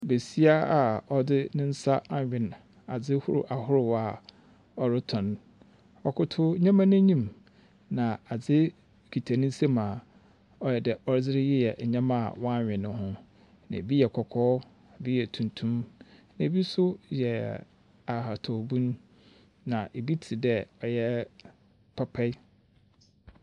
Besia a ɔdze ne nsa anwen adze hor ahorow a ɔroton. Ɔtotow ndzɛmba no enyim, na adze kita ne nsamu a ɔayɛ pɛ ɔdze reyɛ ndzɛmba a wɔanwen no ho. Na ɛbi yɛ kɔkɔɔ. Bi yɛ tuntum, na bi nso yɛ ahatawbun. Na bi tse dɛ ɔyɛ papae.